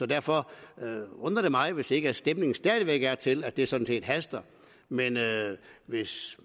derfor undrer det mig hvis ikke stemningen stadig væk er til at det sådan set haster men hvis